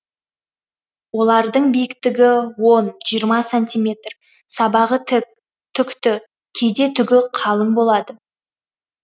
олардың биіктігі он жиырма сантиметр сабағы тік түкті кейде түгі қалың болады